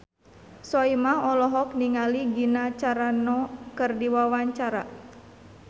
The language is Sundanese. Soimah olohok ningali Gina Carano keur diwawancara